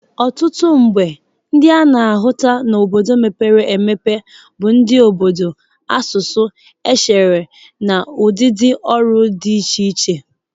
Ọtụtụ mgbe ndị a na-ahụta n'obodo mepere emepe bụ ndị obodo, asụsụ, echere na ụdịdị ọrụ dị iche iche.